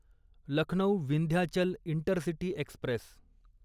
Lucknow Vindhyachal intercity Express